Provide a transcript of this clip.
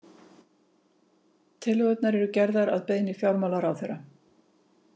Tillögurnar eru gerðar að beiðni fjármálaráðherra